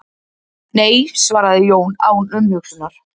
Nei svaraði Jón án umhugsunar.